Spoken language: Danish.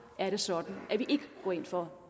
er det sådan at vi ikke går ind for